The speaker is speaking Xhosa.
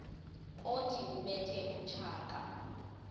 othi ubethe utshaka